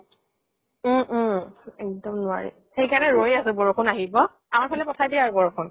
উম উম। এক্দম নোৱাৰি। সেই কাৰণে ৰৈ আছো, বৰষুন আহিব। আমাৰ ফালে পঠাই দিয়া ৰু বৰষুন ।